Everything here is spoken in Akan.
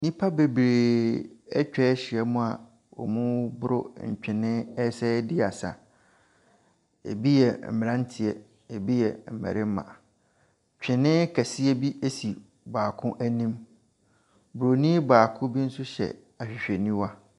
Nnipa bebree atwa ahyiam a wɔregoro ntwene ɛsan so ɛredi asa. Bi yɛ mmeranteɛ, bi yɛ mmarima, twene kɛseɛ bi si baako anim. Bronin baako bi hyɛ ahwehwɛniwa.